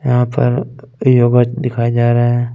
यहाँ पर भी आवाज़ दिखाई दे रहा है।